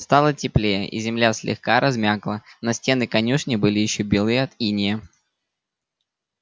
стало теплее и земля слегка размякла но стены конюшни были ещё белы от инея